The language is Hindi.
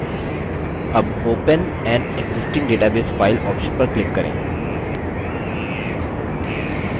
अब open an existing database file option पर click करें